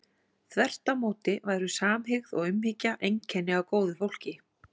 Þvert á móti væru samhygð og umhyggja einkenni á góðu fólki.